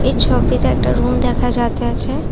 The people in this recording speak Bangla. ছবিতে একটা রুম দেখা যাইতাছে।